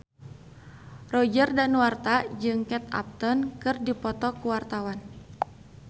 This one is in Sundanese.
Roger Danuarta jeung Kate Upton keur dipoto ku wartawan